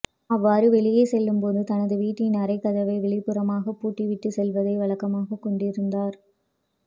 அவ்வாறு வெளியே செல்லும்போது தனது வீட்டின் அறைக்கதவை வெளிப்புறமாக பூட்டி விட்டு செல்வதை வழக்கமாக கொண்டிருந்தார்